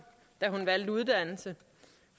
da hun valgte uddannelse